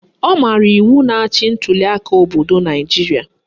Ọ maara iwu na-achị ntuliaka obodo Naijiria